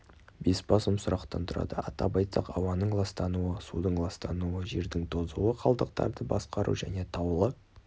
бес басым сұрақтан тұрады атап айтсақ ауаның ластануы судың ластануы жердің тозуы қалдықтарды басқару және таулы